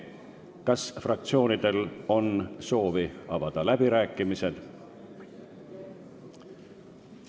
Kas fraktsioonidel on soovi avada läbirääkimisi?